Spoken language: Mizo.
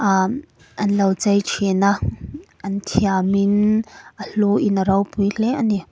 an lo chei ṭhin a an thiam in a hluin a ropui hle ani.